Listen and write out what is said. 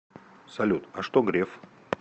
салют а что греф